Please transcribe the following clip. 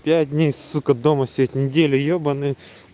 пять дней сука дома сидеть неделю ёбаный